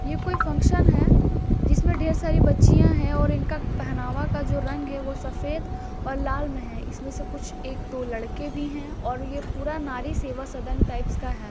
ये कोई फंक्शन है जिसमे ढेर सारी बच्चियां हैं और इनका पहनावा का जो रंग है वो सफ़ेद और लाल में है। इसमें से कुछ एक दो लड़के भी हैं और ये पूरा नारी सेवा सदन टाइप्स का है।